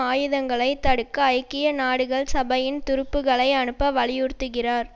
ஆயுதங்களை தடுக்க ஐக்கிய நாடுகள் சபையின் துருப்புகளை அனுப்ப வலியுறுத்துகிறார்